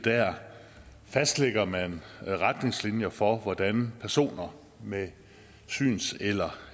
fastlægger man retningslinjer for hvordan personer med syns eller